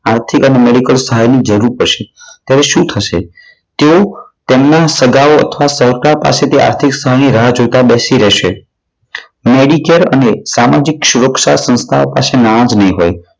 આર્થિક અને મેડિકલ સહાયની જરૂર પડશે ત્યારે શું થશે? તેઓ તેમના સગાઓ અથવા સહકાર પાસેથી આર્થિક સહાયની રાહ જોતા બેસી રહે છે. મેડીકેર અને સામાજિક સુરક્ષા સંસ્થાઓ પાસે નાણા જ નહીં હોય.